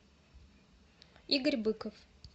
игорь быков